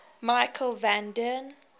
michiel van den